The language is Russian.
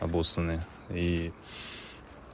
обоссаны и